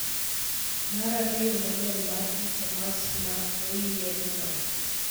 Mar ariyo model mar e-commerce ma oyier no.